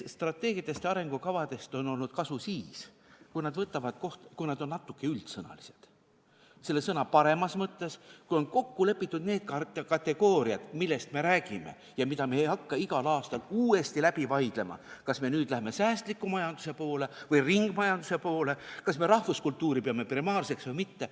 Strateegiatest ja arengukavadest on olnud kasu siis, kui nad on natuke üldsõnalised selle sõna kõige paremas mõttes, kui on kokku lepitud need kategooriad, millest me räägime ja mida me ei hakka igal aastal uuesti läbi vaidlema, et kas me nüüd läheme säästliku majanduse poole või ringmajanduse poole, kas me rahvuskultuuri peame primaarseks või mitte.